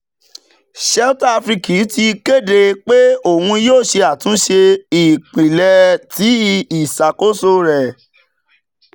shelter afrique ti kede pe oun yoo ṣe atunṣe ipilẹ ti iṣakoso rẹ.